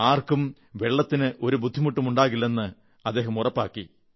ആർക്കും ജലത്തിന് ഒരു ബുദ്ധിമുട്ടുമുണ്ടാകില്ലെന്ന് ഉറപ്പാക്കി